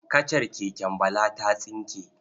Kacar keken Bala ta tsinke.